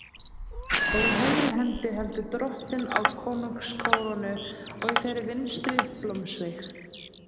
Og í hægri hendi heldur Drottinn á konungskórónu og í þeirri vinstri blómsveig.